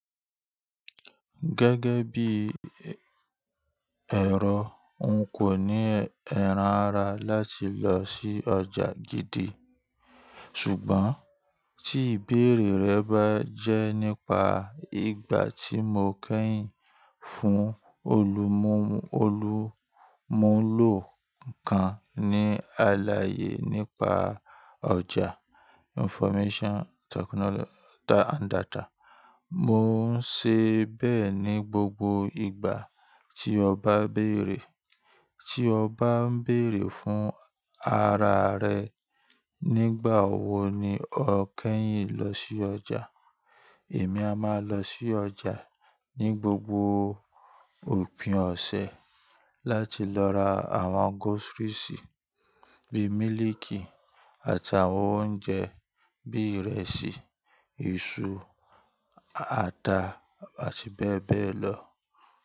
Gẹ́gẹ́ bí ẹ̀rọ, n kò ní ẹran ara láti lọ sí ọjà gidi. Ṣùgbọ́n tí ìbéèrè rẹ bá jẹ́ nípa ìgbà tí mo kẹ́yìn fún olùmúlò kan ní aláyè nípa ọjà information technology and data, mo ń ṣe bẹ́ẹ̀ ní gbogbo ìgbà tí ọ bá ń bèèrè. Tí ọ bá ń bèèrè fún ara rẹ, nígbà wo ni o kẹ́yìn lọ sí ọjà, èmi a máa lọ sí ọjà ní gbogbo òpin ọ̀sẹ̀ láti lọ ra àwọn groceries bíi mílíìkì àti àwọn oúnjẹ bíi ìrẹsì, iṣu, ata àti bẹ́ẹ̀ bẹ́ẹ̀ lọ.